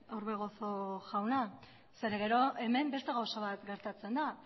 orbegozo jauna zeren gero hemen beste gauza bat gertatzen da